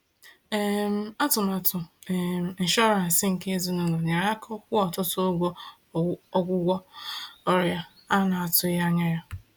um Atụmatụ um inshọransị nke ezinụlọ nyere aka kwụọ ọtụtụ ụgwọ ọgwụgwọ ọrịa a na-atụghị anya ya.